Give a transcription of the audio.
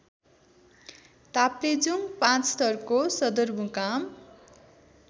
ताप्लेजुङ पाँचथरको सदरमुकाम